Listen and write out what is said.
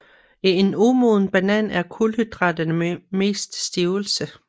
I en umoden banan er kulhydraterne mest stivelse